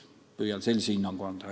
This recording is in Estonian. Võin sellise hinnangu anda.